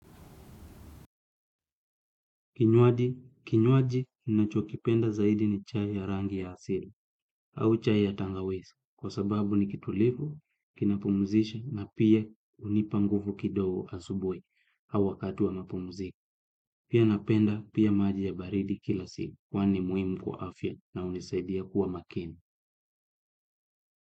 Kinywaji, kinywaji, ninachokipenda zaidi ni chai ya rangi ya asili, au chai ya tangawizi, kwa sababu ni kitulivu, kinapumzisha, na pia hunipa nguvu kidogo asubuhi, au wakati wa mapumziko. Pia napenda pia maji ya baridi kila siku, kwani muhimu kwa afya na hunisaidia kuwa makini.